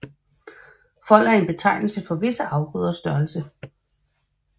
Fold er en betegnelse for visse afgrøders størrelse